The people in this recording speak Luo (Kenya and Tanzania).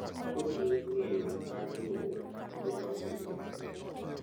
Kojiwo ng’eyo mar riwruok kendo loso yie manyien.